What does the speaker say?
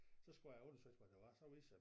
Så skulle jeg undersøges hvad det var så viste sig